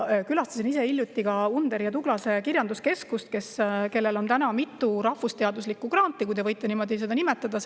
Külastasin ise hiljuti Underi ja Tuglase Kirjanduskeskust, kellel on mitu rahvusteaduslikku granti, kui neid võib niimoodi nimetada.